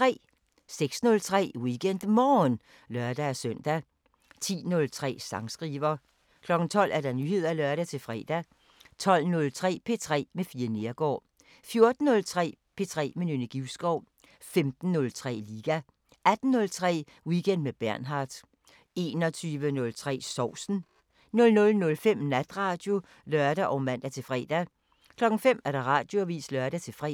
06:03: WeekendMorgen (lør-søn) 10:03: Sangskriver 12:00: Nyheder (lør-fre) 12:03: P3 med Fie Neergaard 14:03: P3 med Nynne Givskov 15:03: Liga 18:03: Weekend med Bernhard 21:03: Sovsen 00:05: Natradio (lør og man-fre) 05:00: Radioavisen (lør-fre)